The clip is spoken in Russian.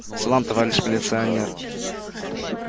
салам товарищ милиционер